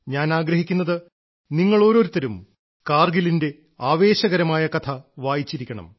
ഞാൻ ആഗ്രഹിക്കുന്നത് നിങ്ങളോരോരുത്തരും കാർഗിലിന്റെ ആവേശകരമായ കഥ വായിച്ചിരിക്കണം